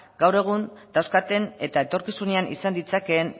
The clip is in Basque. gaur egun dauzkaten eta etorkizunean izan ditzakeen